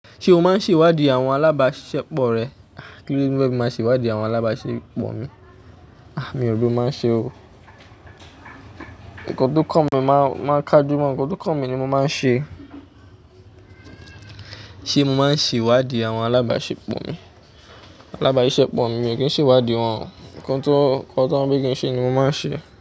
Ṣé o máa ń ṣèwádìí àwọn alábáṣepọ̀ rẹ? Kí ló ní bá mi máa ṣe wádìí àwọn alábáṣepọ̀ mi? Ah, mi ò bọ́ máa ń ṣe o. Ǹkan tó kàn mi máa kájú mọ́n. Ǹkan tó kàn mi ni mo máa ń ṣe. Ṣé mo máa ń ṣèwádìí àwọn alábáṣepọ̀ mi? Alábáṣepọ̀ mi, mi ò kí ń ṣèwádìí wọn. Ǹkan tó, Ǹkan tó wọ́n fẹ́ kí n ṣe ni mo máa ń ṣe.